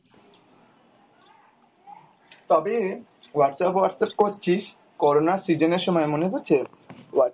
তবে Whatsapp Whatsapp করছিস corona র season এর সময় মনে আছে